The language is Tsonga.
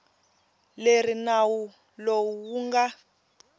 leri nawu lowu wu nga